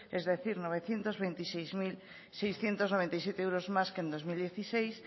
es decir novecientos veintiséis mil seiscientos noventa y siete euros más que en dos mil dieciséis